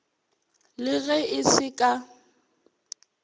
le ge e se ka